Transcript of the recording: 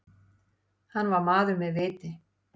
Hann var maður með viti.